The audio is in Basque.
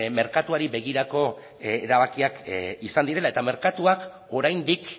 merkatuari begirako erabakiak izan direla eta merkatua oraindik